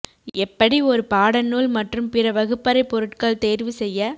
எப்படி ஒரு பாடநூல் மற்றும் பிற வகுப்பறை பொருட்கள் தேர்வு செய்ய